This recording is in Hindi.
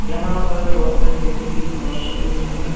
यहां पास बहोत सारी छोटी छोटी घास उगी हुई हैं।